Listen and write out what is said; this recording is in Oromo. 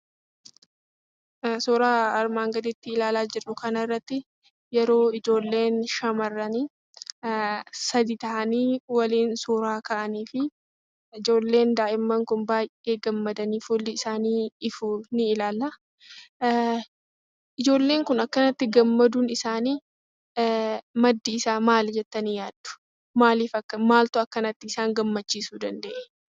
Suuraa armaan gadii ilaalaa jirru kana irratti yeroo ijoolleen shamarranii sadii ta'anii waliin suura ka'aniifi ijoolleen daahimman kun baay'ee gammadanii, fuulli isaanii ifu ni ilaalla. Ijoolleen kun akkanatti gammaduu isaaniif maddi isaa maali jettanii yaaddu? maaltu akkanatti isaan gammachiisuu danda'ee?